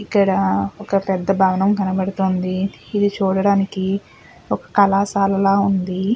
ఇక్కడ ఒక పెద్ద భవనం కనపడుతుంది. ఇది చూడటానికి ఒక కళాశాలలా ఉంది.